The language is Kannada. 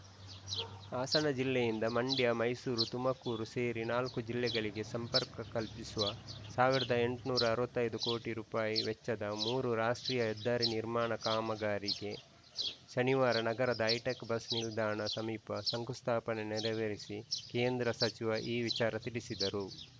ಹಾಸನ ಜಿಲ್ಲೆಯಿಂದ ಮಂಡ್ಯ ಮೈಸೂರು ತುಮಕೂರು ಸೇರಿ ನಾಲ್ಕು ಜಿಲ್ಲೆಗಳಿಗೆ ಸಂಪರ್ಕ ಕಲ್ಪಿಸುವ ಸಾವಿರದ ಎಂಟುನೂರ ಅರವತ್ತ್ ಐದು ಕೋಟಿ ರುಪಾಯಿ ವೆಚ್ಚದ ಮೂರು ರಾಷ್ಟ್ರೀಯ ಹೆದ್ದಾರಿ ನಿರ್ಮಾಣ ಕಾಮಗಾರಿಗೆ ಶನಿವಾರ ನಗರದ ಹೈಟೆಕ್‌ ಬಸ್‌ ನಿಲ್ದಾಣ ಸಮೀಪ ಶಂಕುಸ್ಥಾಪನೆ ನೆರವೇರಿಸಿ ಕೇಂದ್ರ ಸಚಿವ ಈ ವಿಚಾರ ತಿಳಿಸಿದರು